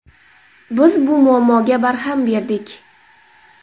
Biz bu muammoga barham berdik.